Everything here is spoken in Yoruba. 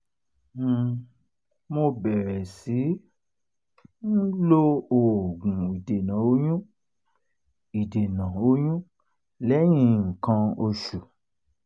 um mo bẹ̀rẹ̀ sí i um lo oògun ìdènà oyún ìdènà oyún lẹ́yìn nǹkan oṣù